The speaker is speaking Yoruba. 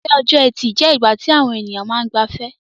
Ìrọ̀lẹ́ ọjọ́-ẹtì je ìgbà ti àwon èyàn ma n gbafẹ́